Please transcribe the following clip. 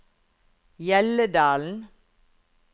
Hjelledalen